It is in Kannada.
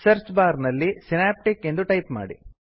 ಸರ್ಚ್ ಬಾರ್ ನಲ್ಲಿ ಸಿನಾಪ್ಟಿಕ್ ಎಂದು ಟೈಪ್ ಮಾಡಿ